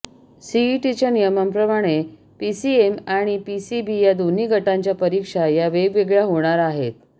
सीईटीच्या नियमांप्रमाणे पीसीएम आणि पीसीबी या दोन्ही गटांच्या परीक्षा या वेगवेगळ्या होणार आहेत